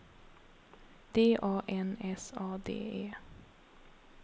D A N S A D E